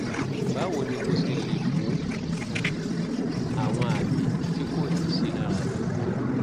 báwo ni mo ṣe lè mú um àwọn àmì tí kò ní sí lára mi kúrò?